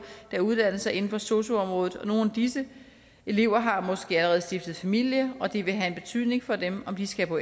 der uddanner sig inden for sosu området nogle af disse elever har måske allerede stiftet familie og det vil have en betydning for dem om de skal på